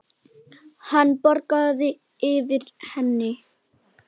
Hann bograði yfir henni.